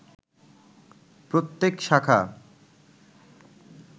প্রত্যেক শাখা